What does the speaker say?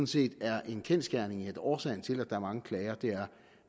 set er en kendsgerning at årsagen til at der er mange klager er